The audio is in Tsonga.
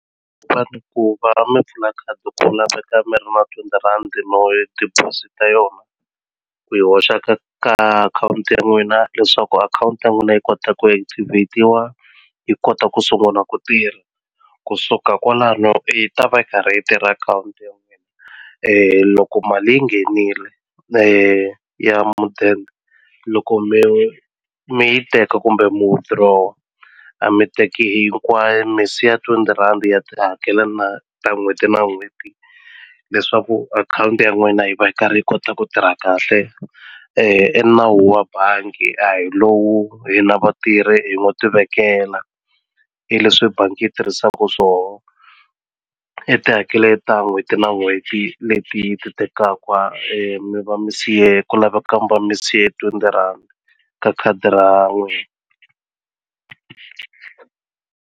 ku va mi pfula khadi ku laveka mi ri na twenty rhandzi desposit-a yona ku yi hoxa ka ka akhawunti ya n'wina leswaku akhawunti ya n'wina yi kota ku activate-iwa yi kota ku sunguna ku tirha kusuka kwalano i ta va yi karhi yi tirha akhawunti ya n'wina loko mali yi nghenile leyi ya mudende loko mi mi yi teka kumbe mu withdraw-a a mi teki hinkwayo mi siya twenty rhandi ya ti hakela na ta n'hweti na n'hweti leswaku akhawunti ya n'wina yi va yi karhi yi kota ku tirha kahle i nawu wa bangi a hi lowu hina vatirhi hi ngo ti vekela hi leswi bangi yi tirhisaku swoho i tihakele ta n'hweti na n'hweti leti yi ti tekaka mi va mi siye ku laveka mi va mi siya twenty rhandi ka khadi ra .